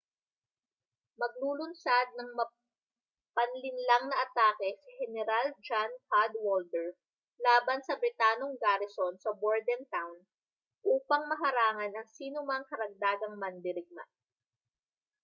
maglulunsad ng mapanlinlang na atake si heneral john cadwalder laban sa britanong garison sa bordentown upang maharangan ang sinomang karagdagang mandirigma